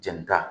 Jɛni ta